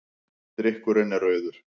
Drykkurinn er rauður.